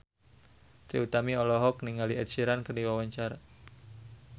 Trie Utami olohok ningali Ed Sheeran keur diwawancara